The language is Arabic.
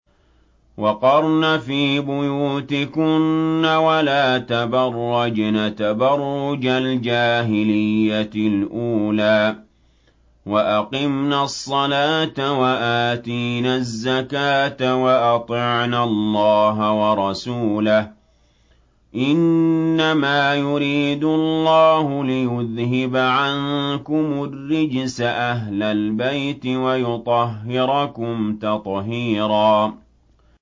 وَقَرْنَ فِي بُيُوتِكُنَّ وَلَا تَبَرَّجْنَ تَبَرُّجَ الْجَاهِلِيَّةِ الْأُولَىٰ ۖ وَأَقِمْنَ الصَّلَاةَ وَآتِينَ الزَّكَاةَ وَأَطِعْنَ اللَّهَ وَرَسُولَهُ ۚ إِنَّمَا يُرِيدُ اللَّهُ لِيُذْهِبَ عَنكُمُ الرِّجْسَ أَهْلَ الْبَيْتِ وَيُطَهِّرَكُمْ تَطْهِيرًا